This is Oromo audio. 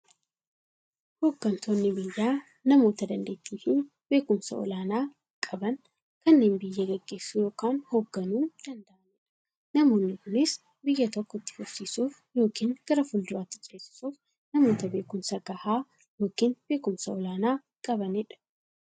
Hooggantoonni biyyaa namoota daanteettiifi beekumsa olaanaa qaban, kanneen biyya gaggeessuu yookiin hoogganuu danda'aniidha. Namoonni kunis, biyya tokko itti fufsiisuuf yookiin gara fuulduraatti ceesisuuf, namoota beekumsa gahaa yookiin beekumsa olaanaa qabaniidha.